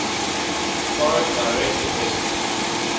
foreign direct investments